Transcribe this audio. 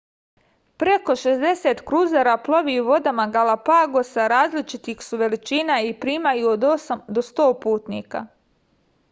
preko 60 kruzera plovi vodama galapagosa različitih su veličina i primaju od 8 do 100 putnika